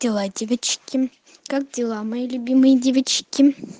дела девочки как дела мои любимые девочки